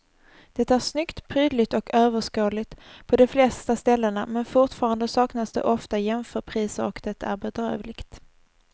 Det är snyggt, prydligt och överskådligt på de flesta ställena men fortfarande saknas det ofta jämförpriser och det är bedrövligt.